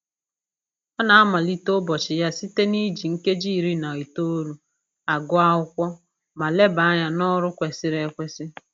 Ọ na-amalite ụbọchị ya site na-iji nkeji iri na itoolu agụ akwụkwọ ma leba anya n'ọrụ kwesịrị ekwesị